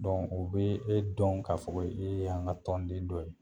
u be e dɔn ka fɔ ko e y'an ka tɔnden dɔ ye.